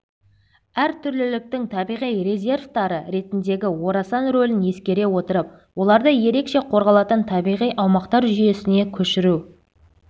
әртүрліліктің табиғи резерваттары ретіндегі орасан рөлін ескере отырып оларды ерекше қорғалатын табиғи аумақтар жүйесіне көшіру